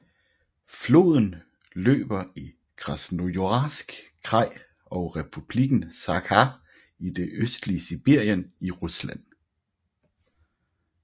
Floden løber i Krasnojarsk kraj og Republikken Sakha i det østlige Sibirien i Rusland